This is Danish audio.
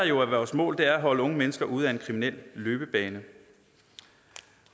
jo er vores mål er at holde unge mennesker ude af en kriminel løbebane